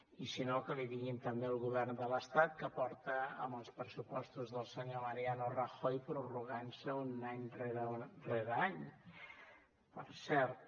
i si no que li diguin també al govern de l’estat que porta amb els pressupostos del senyor mariano rajoy prorrogant se any rere any per cert